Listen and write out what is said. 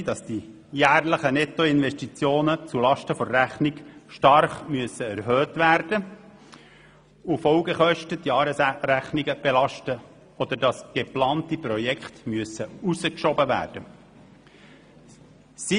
Ich möchte auch nicht schuld sein, wenn die jährlichen Nettoinvestitionen zulasten der Rechnung stark erhöht werden müssen und Folgekosten die Jahresrechnung belasten, oder wenn geplante Projekte verschoben werden müssen.